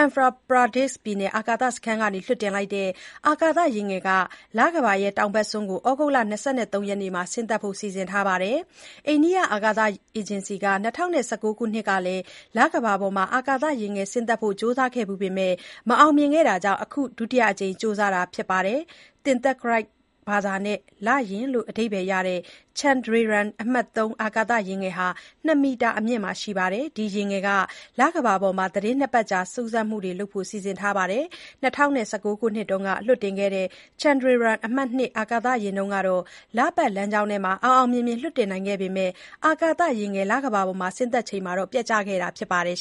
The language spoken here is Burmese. Andhra Pradesh ပြည်နယ်အာကာသစခန်းကနေလွှတ်တင်လိုက်တဲ့ အာကာသယာဉ်ငယ်ဟာ လကမ္ဘာရဲ့တောင်ဘက်စွန်းပေါ်ကို ဩဂုတ်လ ၂၃ ရက်မှာ ဆင်းသက်ဖို့ စီစဉ်ထားပါတယ်။ အိန္ဒိယအာကာသ အေဂျင်စီက ၂၀၁၉ ခုနှစ်ကလည်း လကမ္ဘာပေါ်အာကာသယာဉ်ငယ် ဆင်းသက်ဖို့ ကြိုးစားခဲ့ဖူးပေမယ့် မအောင်မြင်ခဲ့တာကြောင့် အခုဒုတိယအကြိမ် ကြိုးစားတာဖြစ်ပါတယ်။ သင်္သကရိုက်ဘာသာနဲ့ လေယာဉ်လို့ အဓိပ္ပါယ်ရတဲ့ Chandrayaan အမှတ် ၃ အာကာသယာဉ်ငယ်ဟာ ၂ မီတာအမြင့်ရှိပါတယ်၊ ဒီယာဉ်ငယ်ဟာ လကမ္ဘာပေါ်မှာ သီတင်း ၂ ပတ်ကြာ စူးစမ်းမှုတွေ လုပ်ဖို့ စီစဉ်ထားပါတယ်၊ ၂၀၁၉ ခုနှစ်က လွှတ်တင်ခဲ့တဲ့ Chandrayaan အမှတ် ၂ အာကာသယာဉ်တုန်းက လပါတ်လမ်းကြောင်းထဲအောင်အောင်မြင်မြင် လွှတ်တင်နိုင်ခဲ့ပေမဲ့ အာကာသယာဉ်ငယ် လကမ္ဘာပေါ် ဆင်းသက်ချိန်မှာ ပျက်ကျခဲ့တာဖြစ်ပါတယ်